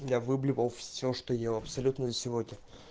я выблевал все что ел абсолютно за сегодня